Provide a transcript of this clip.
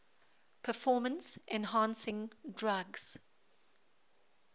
performance enhancing drugs